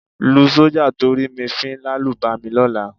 Lu sọ́jà tó rí mi fín lálùbami lọ́la.